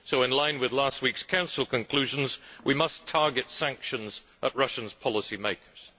So, in line with last week's Council conclusions, we must target sanctions at Russia's policymakers.